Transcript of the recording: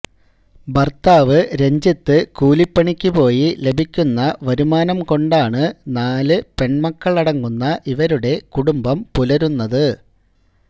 ഭര്ത്താവ് രഞ്ജിത്ത് കൂലിപണിക്കുപോയി ലഭിക്കുന്ന വരുമാനം കൊണ്ടാണ് നാല് പെണ്മക്കളടങ്ങുന്ന ഇവരുടെ കുടുംബം പുലരുന്നത്